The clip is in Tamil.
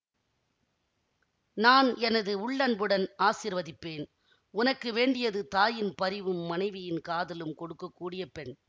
நான் எனது உள்ளன்புடன் ஆசிர்வதிப்பேன் உனக்கு வேண்டியது தாயின் பரிவும் மனைவியின் காதலும் கொடுக்க கூடிய பெண்